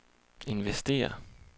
investere